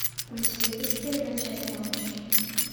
у тебя есть первая часть мамочки